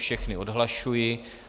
Všechny odhlašuji.